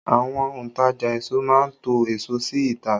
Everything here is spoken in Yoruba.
Àwọn òntajà èso má ń to èso sí ìta